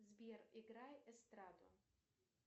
сбер играй эстраду